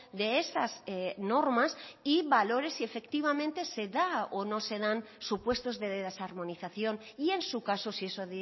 de esas normas y valores y efectivamente se da o no se dan supuestos de desarmonización y en su caso si eso